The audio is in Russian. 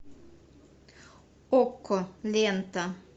окко лента